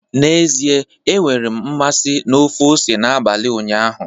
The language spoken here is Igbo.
N'ezie, enwere m mmasị na ofe ose n'abalị ụnyaahụ